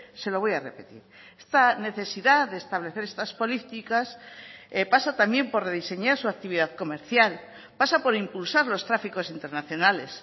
se lo voy a repetir esta necesidad de establecer estas políticas pasa también por rediseñar su actividad comercial pasa por impulsar los tráficos internacionales